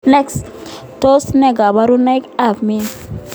Tos ne kaburinoik ab MYH.